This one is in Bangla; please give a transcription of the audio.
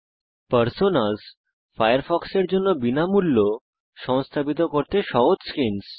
পার্সোনাস ফায়ারফক্সের জন্য বিনামূল্য সংস্থাপিত করতে সহজ স্কিনস